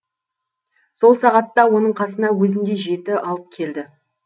сол сағатта оның қасына өзіндей жеті алып келді